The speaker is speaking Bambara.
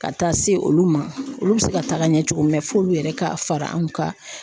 Ka taa se olu ma olu bɛ se ka taga ɲɛ cogo min na mɛ f'olu yɛrɛ ka fara anw ka